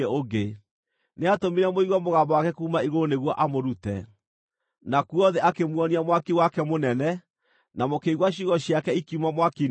Nĩatũmire mũigue mũgambo wake kuuma igũrũ nĩguo amũrute. Nakuo thĩ akĩmuonia mwaki wake mũnene, na mũkĩigua ciugo ciake ikiuma mwaki-inĩ ũcio.